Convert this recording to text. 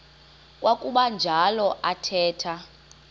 kwakuba njalo athetha